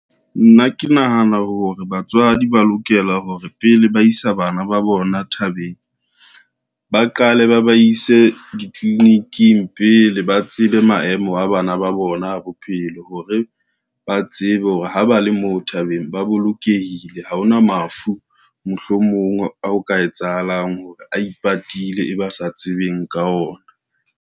Nna ke nahana hore batswadi ba lokela hore pele ba isa bana ba bona thabeng, ba qale ba ba ise ditliliniking pele ba tsebe maemo a bana ba bona a bophelo hore ba tsebe hore ha ba le moo thabeng ba bolokehile, ha ona mafu mohlomong ao ka etsahalang hore a ipatile, e ba sa tsebeng ka ona.